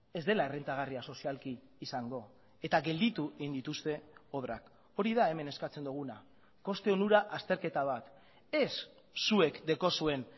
ez dela errentagarria sozialki izango eta gelditu egin dituzte obrak hori da hemen eskatzen duguna koste onura azterketa bat ez zuek daukazuen